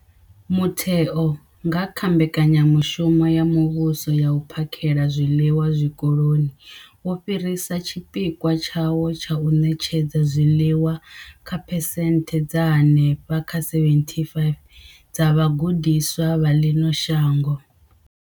Mutheo, nga kha Mbekanyamushumo ya Muvhuso ya U phakhela zwiḽiwa Zwikoloni, wo fhirisa tshipikwa tshawo tsha u ṋetshedza zwiḽiwa kha phesenthe dza henefha kha 75 dza vhagudiswa vha ḽino shango.